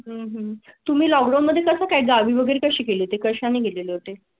म्हणजे तुम्ही लॉग मध्ये कसं काय गावी वगैरे कशी केली ते कशा ने गेले होते?